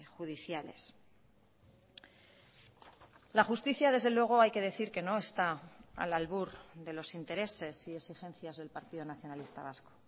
judiciales la justicia desde luego hay que decir que no está al albur de los intereses y exigencias del partido nacionalista vasco